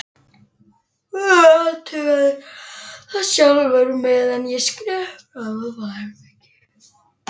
Athugaðu það sjálfur, meðan ég skrepp fram á baðherbergi